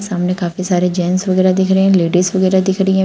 सामने काफी सारे जेंट्स वगैरा दिख रहे है। लेडीज वगैरा दिख रही हैं।